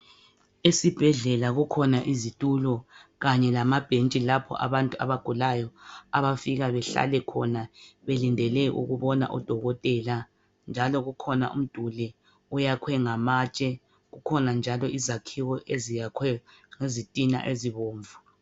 Esibhedlela kukhona izitulo kanye lamabhentshi lapho abantu abagulayo abafika behlale khona belindele ukubona odokotela njalo kukhona umduli oyakhiwe ngamatshe, kukhona njalo izakhiwo eziyakhwe ngezitina ezibomvu.